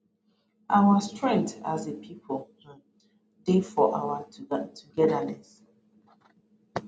our strength as a pipo um dey for our togetherness